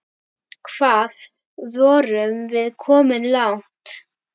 Hvað vorum við komin langt?